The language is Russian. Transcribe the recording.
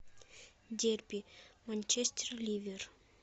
дерби манчестер ливер